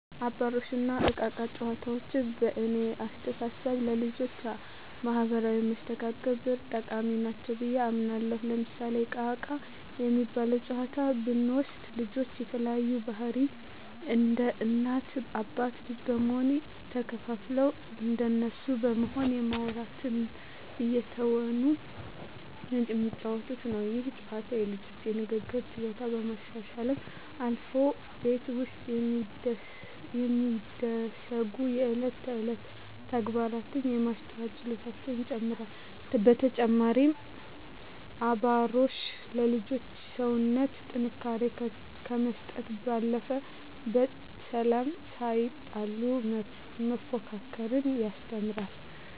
አባሮሽ እና እቃ እቃ ጨዋታዎች በእኔ አስተሳሰብ ለልጆች ማህበራዊ መስተጋብር ጠቃሚ ናቸው ብየ አምናለሁ። ለምሳሌ እቃ እቃ የሚባለውን ጨዋታ ብንወስድ ልጆች የተለያዩ ገፀባህርይ እንደ እናት አባት ልጅ በመሆን ተከፋፍለው እንደነሱ በመሆን በማዉራት እየተወኑ የሚጫወቱት ነው። ይህ ጨዋታ የልጆቹን የንግግር ችሎታ ከማሻሻልም አልፎ ቤት ውስጥ የሚደሰጉ የእለት ተእለት ተግባራትን የማስተዋል ችሎታቸውን ይጨመራል። በተጨማሪም አባሮሽ ለልጆች የሰውነት ጥንካሬ ከመስጠት ባለፈ በሰላም ሳይጣሉ መፎካከርን ያስተምራል።